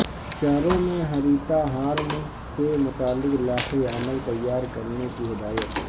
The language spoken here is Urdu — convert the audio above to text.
شہروں میں ہریتا ہارم سے متعلق لائحہ عمل تیار کرنے کی ہدایت